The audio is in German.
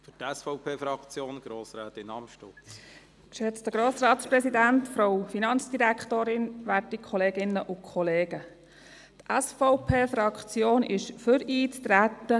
Die SVP-Fraktion ist für das Eintreten und für die Einführung der Vertrauensarbeitszeit.